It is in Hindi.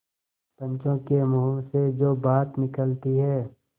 पंचों के मुँह से जो बात निकलती है